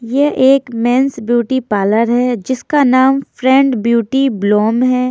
यह एक men's beauty parlour है जिसका नाम फ्रेंड ब्यूटी ब्लोम है।